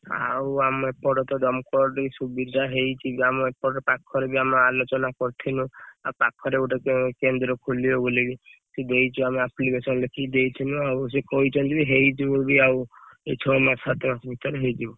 ଆଉ ଆମ ଏପଟ ତ ଦମକଳ ଟିକେ ସୁବିଧା ହେଇଛି ଆମ ଏପଟ ପାଖରେ ବି ଆମେ ଆଲୋଚନା କରିଥିଲୁ ଆଉ ପାଖରେ ଗୋଟେ କେ କେନ୍ଦ୍ର ଖୋଲିବ ବୋଲିକି ବୋଲିକି ସେ ଦେଇଛୁ ଆମେ application ଲେଖିକି ଦେଇଥିଲୁ ଆଉ ସେ କହିଛନ୍ତି ହେଇଯିବ ବି ଆଉ ଏଇ ଛଅ ମାସ ସାତ ମାସ ଭିତରେ ହେଇଯିବ।